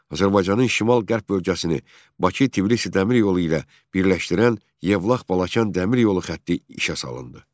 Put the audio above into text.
Azərbaycanın şimal-qərb bölgəsini Bakı-Tbilisi dəmir yolu ilə birləşdirən Yevlax-Balakən dəmir yolu xətti işə salındı.